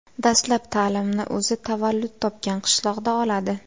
Dastlab ta’limni o‘zi tavallud topgan qishloqda oladi.